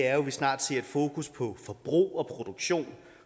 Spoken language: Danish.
at vi snart ser et fokus på forbrug og produktion